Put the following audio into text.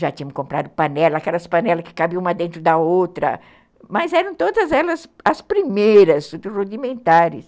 Já tínhamos comprado panelas, aquelas panelas que cabiam uma dentro da outra, mas eram todas elas as primeiras dos rudimentares.